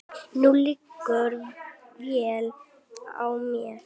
Nú liggur vél á mér